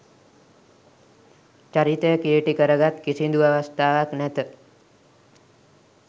චරිතය කිළිටි කර ගත් කිසිදු අවස්ථාවක් නැත.